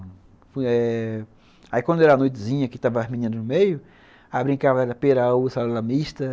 Eh... Aí quando era noitezinha, que estavam as meninas no meio, a gente brincava de pera, uva, salada mista.